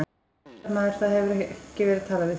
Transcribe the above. Fréttamaður: Það hefur ekki verið talað við þig?